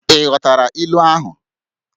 ị ghọtara ilu ahụ?